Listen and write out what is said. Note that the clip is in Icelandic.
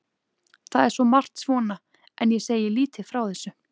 Það er svo margt svona en ég segi lítið frá þessu.